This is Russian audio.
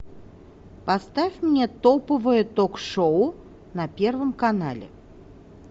поставь мне топовое ток шоу на первом канале